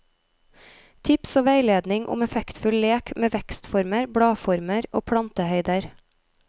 Tips og veiledning om effektfull lek med vekstformer, bladformer og plantehøyder.